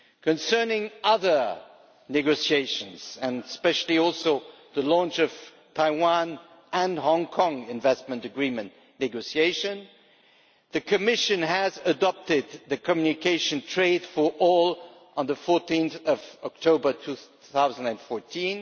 Concerning other negotiations and especially the launch of the Taiwan and Hong Kong investment agreement negotiations the Commission adopted the communication on its Trade for All strategy on 14 October 2014,